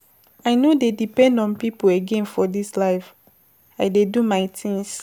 I no dey depend on pipo again for dis life, I dey do my tins.